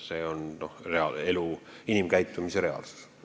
See on elu, inimkäitumise reaalsus.